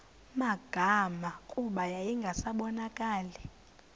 magama kuba yayingasabonakali